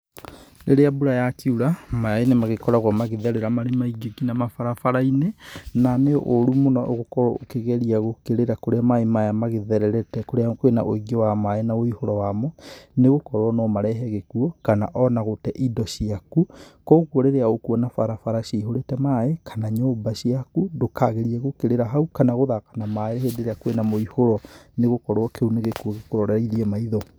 Rĩrĩa mbura yakiura, maĩ nĩ magĩkoragwo magĩtherera marĩ maingĩ ngina mabarabara-inĩ, na nĩ ũru mũno gũkorwo ũkĩgeria gũkĩrĩra kũrĩa maĩ maya magĩthererete kũrĩa kwĩna ũingĩ wa maĩ na wĩihũro wamo, nĩ gũkorwo no marehe gĩkuo kana ona gũte indo ciaku kũguo rĩrĩa ũkuona barabara cihũrĩte maĩ, kana nyũmba ciaku ndũkageria gũkĩrĩra hau kana gũthaka na maĩ hĩndĩ ĩrĩa kwĩna mũihũro, nĩ gũkorwo kĩu nĩ gĩkuo gĩkũroreirie maitho.